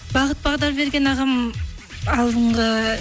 бағыт бағдар берген ағам алдыңғы